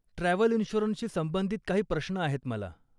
Travel इन्शुरन्सशी संबंधित काही प्रश्न आहेत मला.